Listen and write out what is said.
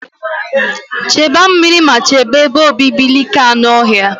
Chekwa meri ma chebe ebe obibi like anụ ọhịa.